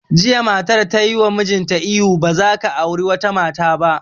Jiya matar tayi wa mijinta ihu 'Ba za ka auri wata mata ba'!